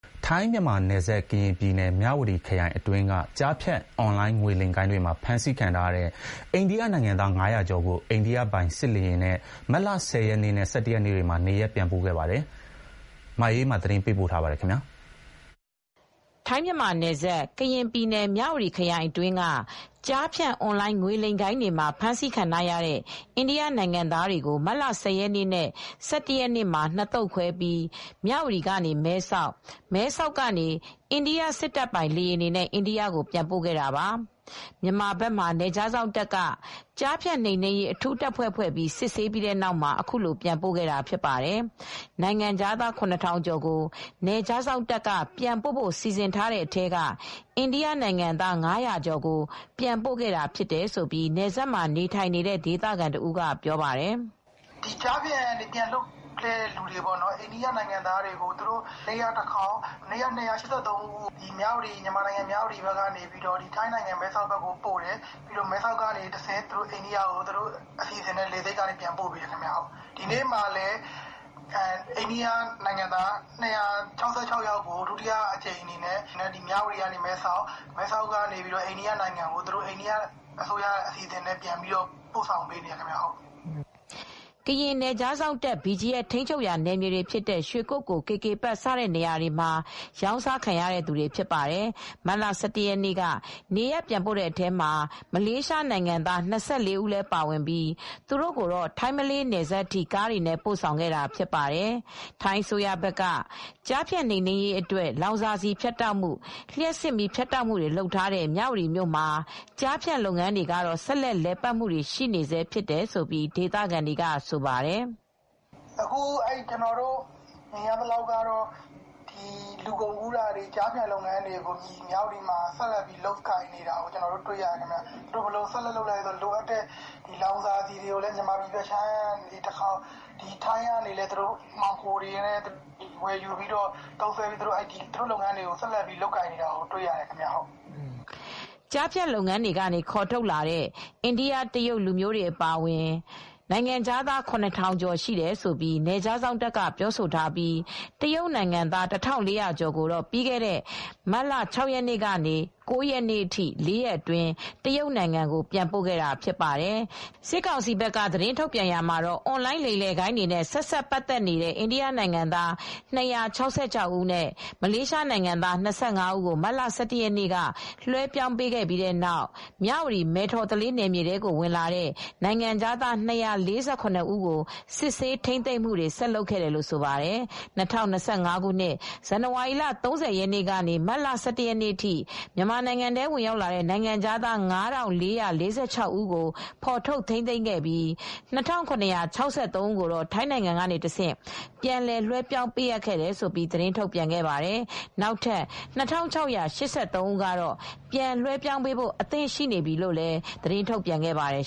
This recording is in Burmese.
ထိုင်း-မြန်မာနယ်စပ်၊ ကရင်ပြည်နယ်၊ မြဝတီခရိုင်အတွင်းက ကျားဖြန့် အွန်လိုင်းငွေလိမ်ဂိုဏ်းတွေမှာ ဖမ်းဆီးခံထားရတဲ့ အိန္ဒိယနိုင်ငံသား ၅၀၀ ကျော်ကို အိန္ဒိယပိုင်စစ်လေယာဉ်နဲ့ မတ်လ ၁၀ရက်နေ့နဲ့ ၁၁ ရက်နေ့တွေမှာ နေရပ်ပြန်ပို့ခဲ့ပါတယ်။ ဒီသတင်းကို ဗွီအိုအေသတင်းထောက် မအေးအေးမာက သတင်းပေးပို့ထားပါတယ်။ ထိုင်း-မြန်မာနယ်စပ်၊ ကရင်ပြည်နယ်၊ မြဝတီခရိုင်အတွင်းက ကျားဖြန့် အွန်လိုင်းငွေလိမ်ဂိုဏ်းတွေမှာ ဖမ်းဆီးခံထားရတဲ့ အိန္ဒိယနိုင်ငံသားတွေကို မတ်လ ၁၀ ရက်နေ့နဲ့ ၁၁ ရက်နေ့တွေမှာ နှစ်သုတ်ခွဲပြီး မြ၀တီကနေ မဲဆောက်၊ မဲဆောက်ကနေ အိန္ဒိယစစ်တပ်ပိုင် လေယာဉ်တွေနဲ့ အိန္ဒိယကို ပြန်ပို့ခဲ့တာပါ။ မြန်မာဘက်မှာ နယ်ခြားစောင့်တပ်က ကျားဖြန့်နှိမ်နင်းရေး အထူးတပ်ဖွဲ့ဖွဲ့ပြီး စစ်ဆေးပြီးတဲ့နောက်မှာ အခုလို ပြန်ပို့ခဲ့တာဖြစ်ပါတယ်။ နိုင်ငံခြားသား ၇,၀၀၀ ကျော်ကို နယ်ခြားစောင့်တပ်က ပြန်ပို့ဖို့ စီစဉ်ထားတဲ့အထဲက အိန္ဒိယနိုင်ငံသား ၅၀၀ ကျော်ကို ပြန်ပို့ခဲ့တာဖြစ်တယ်လို့ နယ်စပ်မှာနေထိုင်နေတဲ့ ဒေသခံတဦးကပြောပါတယ်။ "ကျားဖြန့်ကနေ ပြန်လွှတ်တဲ့သူတွေ အိန္ဒိယနိင်ငံသားတွေကို မနေ့ကတခေါက် ၂၈၃ ဦးကို မြန်မာနိုင်ငံ မြ၀တီကနေ ထိုင်းဘက် မဲဆောက်ကိုပို့တယ်။ မဲဆောက်ကနေ အိန္ဒိယအစိုးရအစီစဉ်နဲ့ အိန္ဒိယကိုပို့တယ်။ ဒီနေ့မှာလည်း အိန္ဒိယနိင်ငံသား ၂၆၆ ကို မြ၀တီကနေ မဲဆောက်၊ မဲဆောက်ကနေ အိန္ဒိယအထိကို သူတို့အစိုးရ အစီစဉ်နဲ့ ပို့ပေးနေတယ်။" ကရင်နယ်ခြားစောင့်တပ် ထိန်းချုပ်ရာ နယ်မြေတွေဖြစ်တဲ့ ရွှေကုက္ကို၊ KK Park စတဲ့နေရာတွေမှာ ရောင်းစားခံရတဲ့သူတွေဖြစ်ပါတယ်။ မတ်လ ၁၁ရက်နေ့က နေရပ်ပြန်ပို့တဲ့အထဲမှာ မလေးရှားနိုင်ငံသား ၂၀ ကျော်လည်းပါဝင်ပြီး သူတို့ကိုတော့ ထိုင်း-မလေးနယ်စပ်ထိ ကားနဲ့ ပို့ဆောင်ခဲ့တာဖြစ်ပါတယ်။ ထိုင်းအစိုးရဘက်က ကျားဖြန့်နှိမ်နင်းရေးအတွက် လောင်စာဆီဖြတ်တောက်မှု၊ လျှပ်စစ်မီးဖြတ်တောက်မှုတွေလုပ်ထားတဲ့ မြ၀တီမြို့မှ ာကျားဖြန့်လုပ်ငန်းတွေကတော့ ဆက်လက် လည်ပတ်နေဆဲဖြစ်တယ်လို့ ဒေသခံတွေကတော့ ဆိုပါတယ်။ "အခု ကျနော်တို့ မြင်ရသလောက်က လူကုန်ကူးမှုတွေ၊ ကျားဖြန့်လုပ်ငန်းတွေ လုပ်နေတာတွေ့ရတယ်။ ဘယ်လိုလုပ်နေလဲဆိုတော့ လောင်စာဆီတွေလည်း မြန်မာနိုင်ငံအတွင်းပိုင်းကနေ သယ်လာပြီးလုပ်တယ်၊ ပြီးတော့ ထိုင်းဘက်ကနေလည်း မှောင်ခိုတွေကနေတဆင့် ခိုးသယ်တာတွေ လုပ်တယ်၊ သူတို့ လုပ်ငန်းတွေတော့ လည်ပတ်နေတုန်းပဲ။" ကျားဖြန့်လုပ်ငန်းကနေ ခေါ်ထုတ်ထားတဲ့ တရုတ်၊ အိန္ဒိယလူမျိုးတွေအပါအဝင် နိုင်ငံခြားသား ၇,၀၀၀ ကျော်ရှိတယ်လို့ နယ်ခြားစောင့်တပ်က ပြောဆိုထားပြီး တရုတ်နိုင်ငံသား ၁,၄၀၀ ကျော်ကိုတော့ ပြီးခဲ့တဲ့မတ်လ ၆ ရက်နေ့ကနေ ၉ ရက်နေ့အထိ ၄ ရက်အတွင်း တရုတ်နိုင်ငံကို ပြန်ပို့ခဲ့တာဖြစ်ပါတယ်။ စစ်ကောင်စီဘက်က သတင်းထုတ်ပြန်ရာမှာတော့ အွန်လိုင်း လိမ်လည်ဂိုဏ်းတွေနဲ့ ဆက်စပ်ပတ်သက်နေတဲ့ အိန္ဒိယနိုင်ငံသား ၂၆၆ ဦးနဲ့ မလေးရှားနိုင်ငံသား ၂၅ ဦးကို မတ်လ ၁၁ ရက်နေ့က လွှဲပြောင်းပေးခဲ့ပြီး နောက်ထပ် မြ၀တီ-မယ်ထော်သလေးနယ်မြေကို ဝင်လာတဲ့ နိုင်ငံခြားသား ၂၄၇ ဦးကို စစ်ဆေး ထိန်းသိမ်းမှု ဆက်လုပ်ခဲ့တယ်လို့ဆိုပါတယ်။ ၂၀၂၅ ခုနှစ်၊ ဇန်နဝါရီလ ၃၀ ရက်နေ့ကနေ မတ်လ ၁၁ ရက်နေ့အထိ မြန်မာနိုင်ငံထဲ ဝင်ရောက်လာတဲ့ နိုင်ငံခြားသား ၅,၄၄၆ ဦးကို ဖော်ထုတ်ထိန်းသိမ်းခဲ့ပြီး ၂,၇၆၃ ဦးကိုတော့ ထိုင်းနိုင်ငံကတဆင့်ပြန်လွှဲပြောင်းပေးခဲ့တယ်လို့ သတင်းထုတ်ပြန်ခဲ့ပါတယ်။ နောက်ထပ် ၂,၆၈၃ ဦးကတော့ ပြန်လွှဲ ပြောင်းပေးဖို့ အဆင်သင့်ရှိနေပြီလို့ သတင်းထုတ်ပြန်ခဲ့ပါတယ်